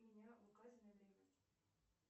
меня в указанное время